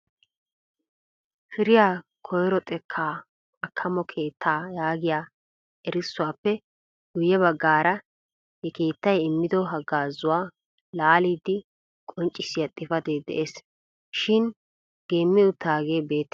Firiyaa koyro xekka Akkammo keettaa yaagiya erissuwappe guyye baggaara he keettay immiyo haggaazzuwa laallidi qonccissiya xifatee de'ees shin geemi uttaage beettena.